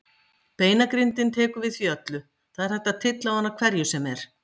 Beinagrindin tekur við því öllu, það er hægt að tylla á hana hverju sem er.